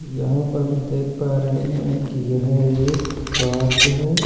यहाँ पर हम देख पा रहे हैं कि यह एक पार्क है।